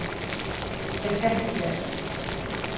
Gekk ekki vel.